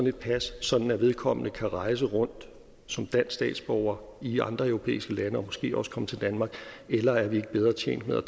et pas sådan at vedkommende kan rejse rundt som dansk statsborger i andre europæiske lande og måske også komme til danmark eller er vi ikke bedre tjent med